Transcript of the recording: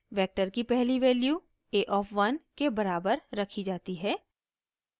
vector की पहली value a of 1 के बराबर रखी जाती है